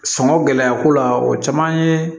Sɔngɔ gɛlɛya ko la o caman ye